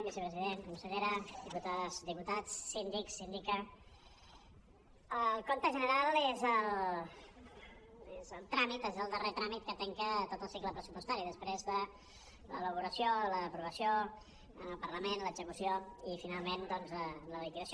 vicepresident consellera diputades diputats síndic síndica el compte general és el tràmit és el darrer tràmit que tanca tot el cicle pressupostari després de l’elaboració l’aprovació en el parlament l’execució i finalment doncs la liquidació